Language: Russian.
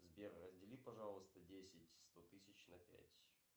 сбер раздели пожалуйста десять сто тысяч на пять